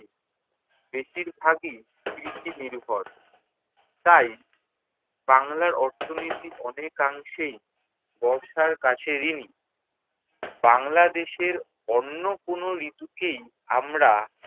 বেশিরভাগই কৃষি-নির্ভর। তাই বাংলার অর্থনীতি অনেকাংশেই বর্ষার কাছে ঋণী। বাংলাদেশের অন্য কোনো ঋতুকেই আমরা